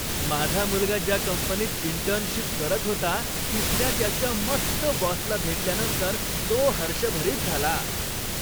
माझा मुलगा ज्या कंपनीत इंटर्नशिप करत होता तिथल्या त्याच्या मस्त बॉसला भेटल्यानंतर तो हर्षभरित झाला.